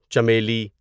چنبیلی